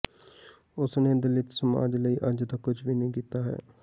ਉਸਨੇ ਦਲਿਤ ਸਮਾਜ ਲਈ ਅੱਜ ਤੱਕ ਕੁਝ ਵੀ ਨਹੀਂ ਕੀਤਾ ਹੈ